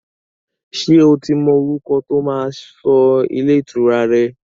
Ṣé o ti mọ orúkọ tó máa sọ ilé ìtura rẹ?